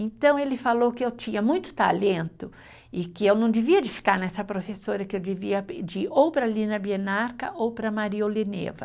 Então ele falou que eu tinha muito talento e que eu não devia de ficar nessa professora, que eu devia de ir ou para a Lina Bienarca ou para a Maria Oleneva.